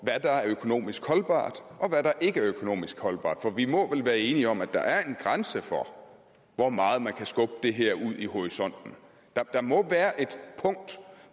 der er økonomisk holdbart og hvad der ikke er økonomisk holdbart for vi må vel være enige om at der er en grænse for hvor meget man kan skubbe det her ud i horisonten der må være et punkt